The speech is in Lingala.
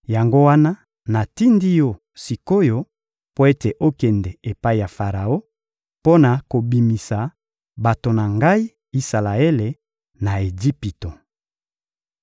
Yango wana natindi yo sik’oyo mpo ete okende epai ya Faraon mpo na kobimisa bato na Ngai, Isalaele, na Ejipito.